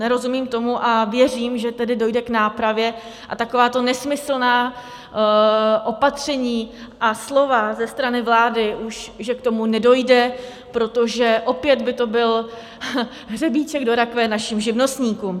Nerozumím tomu a věřím, že tedy dojde k nápravě a takováto nesmyslná opatření a slova ze strany vlády, že už k tomu nedojde, protože opět by to byl hřebíček do rakve našim živnostníkům.